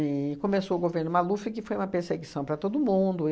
E começou o governo Maluf, que foi uma perseguição para todo mundo.